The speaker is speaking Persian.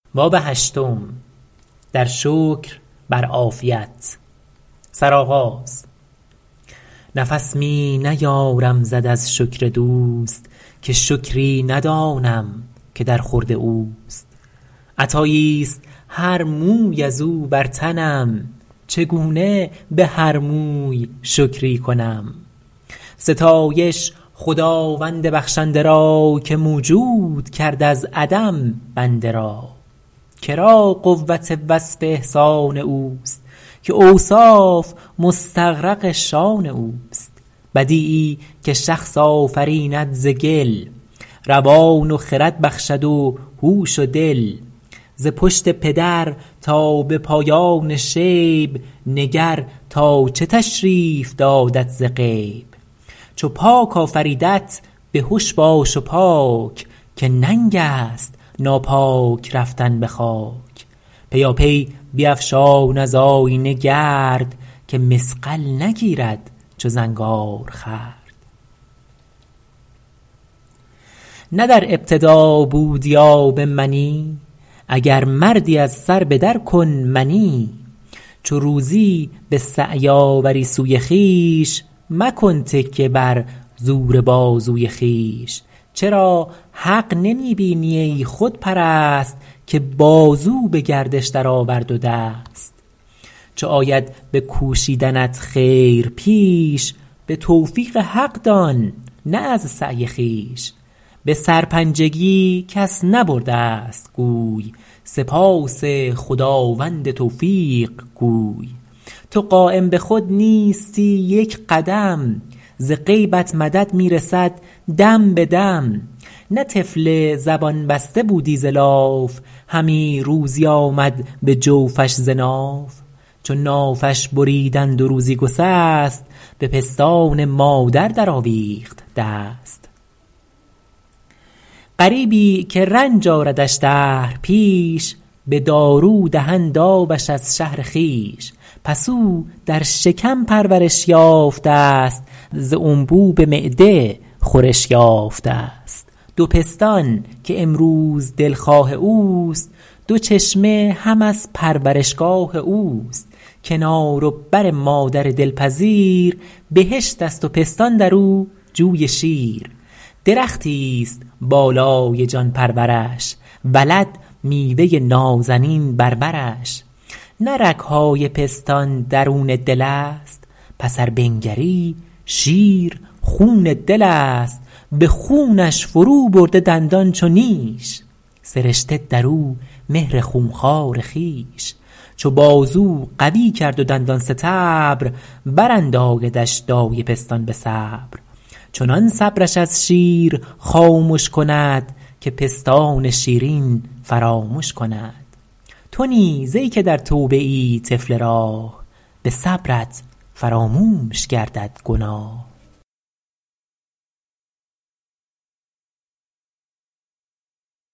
نفس می نیارم زد از شکر دوست که شکری ندانم که در خورد اوست عطایی است هر موی از او بر تنم چگونه به هر موی شکری کنم ستایش خداوند بخشنده را که موجود کرد از عدم بنده را که را قوت وصف احسان اوست که اوصاف مستغرق شأن اوست بدیعی که شخص آفریند ز گل روان و خرد بخشد و هوش و دل ز پشت پدر تا به پایان شیب نگر تا چه تشریف دادت ز غیب چو پاک آفریدت بهش باش و پاک که ننگ است ناپاک رفتن به خاک پیاپی بیفشان از آیینه گرد که مصقل نگیرد چو زنگار خورد نه در ابتدا بودی آب منی اگر مردی از سر به در کن منی چو روزی به سعی آوری سوی خویش مکن تکیه بر زور بازوی خویش چرا حق نمی بینی ای خودپرست که بازو به گردش درآورد و دست چو آید به کوشیدنت خیر پیش به توفیق حق دان نه از سعی خویش به سرپنجگی کس نبرده ست گوی سپاس خداوند توفیق گوی تو قایم به خود نیستی یک قدم ز غیبت مدد می رسد دم به دم نه طفل زبان بسته بودی ز لاف همی روزی آمد به جوفش ز ناف چو نافش بریدند و روزی گسست به پستان مادر در آویخت دست غریبی که رنج آردش دهر پیش به دارو دهند آبش از شهر خویش پس او در شکم پرورش یافته ست ز انبوب معده خورش یافته ست دو پستان که امروز دلخواه اوست دو چشمه هم از پرورشگاه اوست کنار و بر مادر دلپذیر بهشت است و پستان در او جوی شیر درختی است بالای جان پرورش ولد میوه نازنین بر برش نه رگ های پستان درون دل است پس ار بنگری شیر خون دل است به خونش فرو برده دندان چو نیش سرشته در او مهر خون خوار خویش چو بازو قوی کرد و دندان ستبر براندایدش دایه پستان به صبر چنان صبرش از شیر خامش کند که پستان شیرین فرامش کند تو نیز ای که در توبه ای طفل راه به صبرت فراموش گردد گناه